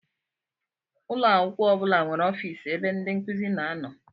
Ụlọakwụkwọ ọbula nwéré ọffici ebe ndị nkụzi na-ano.